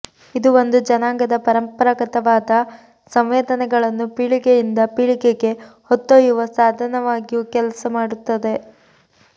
ಇದು ಒಂದು ಜನಾಂಗದ ಪರಂಪರಾಗತವಾದ ಸಂವೇದನೆಗಳನ್ನು ಪೀಳಿಗೆಯಿಂದ ಪೀಳಿಗೆಗೆ ಹೊತ್ತೊಯ್ಯುವ ಸಾಧನವಾಗಿಯೂ ಕೆಲಸ ಮಾಡುತ್ತದೆ